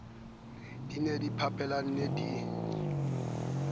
di ne di mphapanelana di